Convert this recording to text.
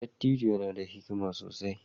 Dattijo yana da hikima sosai